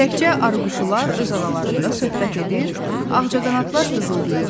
Təkcə arıquşular öz aralarında söhbət edir, ağcaqanadlar dızıldayırdı.